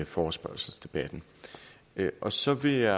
forespørgselsdebatten og så vil jeg